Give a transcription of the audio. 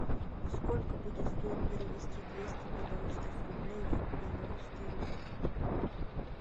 сколько будет стоить перевести двести белорусских рублей в белорусский рубль